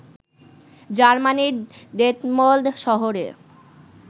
জার্মানির ডেটমল্ড শহরে